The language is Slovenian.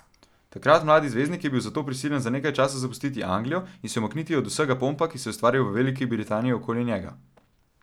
Takrat mladi zvezdnik je bil zato prisiljen za nekaj časa zapustiti Anglijo in se umakniti od vsega pompa, ki se je ustvaril v Veliki Britaniji okoli njega.